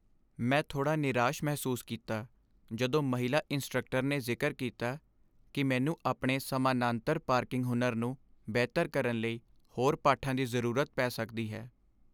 ਮੈਂ ਥੋਡ਼੍ਹਾ ਨਿਰਾਸ਼ ਮਹਿਸੂਸ ਕੀਤਾ ਜਦੋਂ ਮਹਿਲਾ ਇੰਸਟ੍ਰਕਟਰ ਨੇ ਜ਼ਿਕਰ ਕੀਤਾ ਕਿ ਮੈਨੂੰ ਆਪਣੇ ਸਮਾਨਾਂਤਰ ਪਾਰਕਿੰਗ ਹੁਨਰ ਨੂੰ ਬਿਹਤਰ ਕਰਨ ਲਈ ਹੋਰ ਪਾਠਾਂ ਦੀ ਜ਼ਰੂਰਤ ਪੈ ਸਕਦੀ ਹੈ।